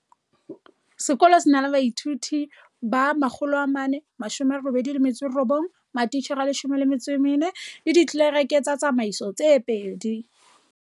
Sekolo se na la baithuti ba 489, matitjhere a14, le ditlelereke tsa tsamaiso tse babedi.